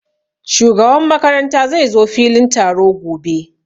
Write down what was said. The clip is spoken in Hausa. Shugaban makaranta zai zo filin taro gobe